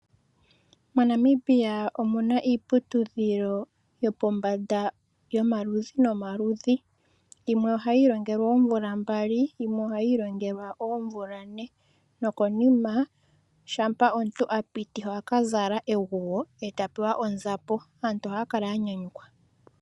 Monamibia omuna iiputudhilo yopombanda yomaludhi nomaludhi. Yimwe ohayi ilongelwa omvula mbali , yimwe omvula ne nokonima shama omuntu apiti ohaka ohaka zala eguwo ,eta pewa onzapo. Aantu oha ya kala ya nyanyukwa